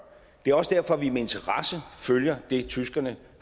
det er også derfor at vi med interesse følger det tyskerne